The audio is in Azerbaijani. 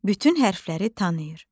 Bütün hərfləri tanıyır.